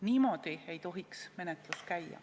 Niimoodi ei tohiks menetlus käia.